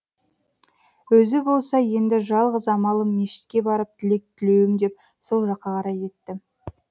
өзі болса енді жалғыз амалым мешітке барып тілек тілеуім деп сол жаққа қарай кетті